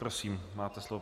Prosím, máte slovo.